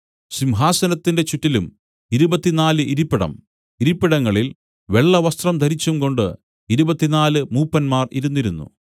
സിംഹാസനത്തിന്റെ ചുറ്റിലും ഇരുപത്തിനാല് ഇരിപ്പിടം ഇരിപ്പിടങ്ങളിൽ വെള്ളവസ്ത്രം ധരിച്ചുംകൊണ്ട് ഇരുപത്തിനാല് മൂപ്പന്മാർ ഇരുന്നിരുന്നു